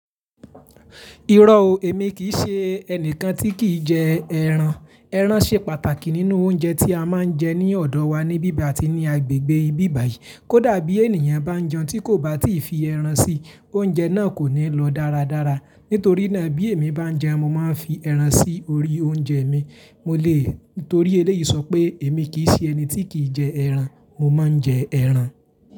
Irọ́ o, èmi kì í ṣe ẹnìkan tí kì í jẹ ẹran. Ẹran ṣe pàtàkì nínú oúnjẹ tí a máa ń jẹ ní ọ̀dọ̀ wa ní bíbà yi ati ní agbègbè ibi báyìí. Kódà bí ènìyàn bá jẹun tí kò bá tíì fi ẹran sí, oúnjẹ náà kò ní lọ dáradára. Nítorí náà bí èmi bá ń jẹun mo máa ń fi ẹran sí orí oúnjẹ mi. Mo lè, nítorí eléyìí sọ pé èmi kì í ṣe ẹni tí kì í jẹ ẹran. Mo máa ń jẹ ẹran.